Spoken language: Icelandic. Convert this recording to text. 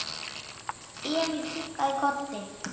Emil kinkaði kolli.